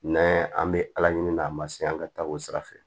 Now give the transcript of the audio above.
N'an an bɛ ala ɲini n'a ma se an ka taa o sira fɛ